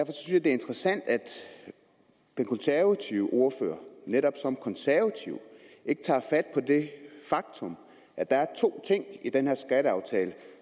er interessant at den konservative ordfører netop som konservativ ikke tager fat på det faktum at der er to ting i den her skatteaftale